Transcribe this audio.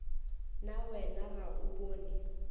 na wena ga o bone